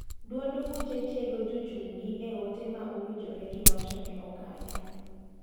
Duond buche tiego jochung' gi e ote ma owinjore gi wachne oganda.